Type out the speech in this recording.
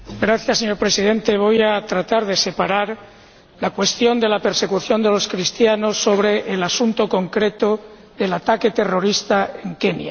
Señor Presidente, voy a tratar de separar la cuestión de la persecución de los cristianos del asunto concreto del ataque terrorista en Kenia.